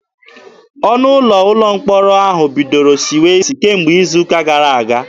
Ọnụ ụlọ ụlọ mkpọrọ ahụ bidoro siwe isi kemgbe izu ụka gara aga.